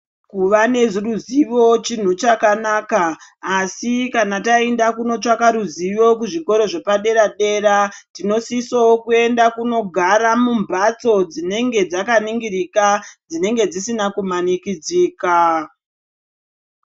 Kuvaneruzivo chinhu chakanaka asi kana taenda kunotsvaka ruzivo kuzvikora zvepadera tinofanirwa kunogarawo mumhatso dzinoningirika dzisina kumanirikidzika